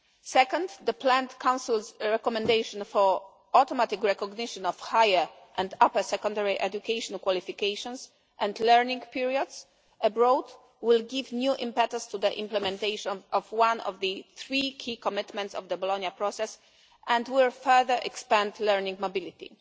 Second, the planned Council's recommendation for automatic recognition of higher and upper secondary educational qualifications and learning periods abroad will give new impetus to the implementation of one of the three key commitments of the Bologna Process and will further expand learning mobility.